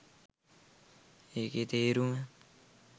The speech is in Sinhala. ඒකේ තේරුම